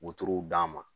Wotoro d'a ma